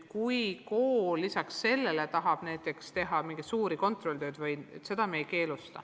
Kui kool lisaks sellele tahab näiteks teha mingeid suuri kontrolltöid, siis seda me ei keelusta.